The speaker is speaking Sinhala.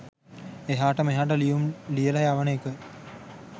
එහාට මෙහාට ලියුම් ලියලා යවන එක